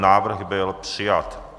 Návrh byl přijat.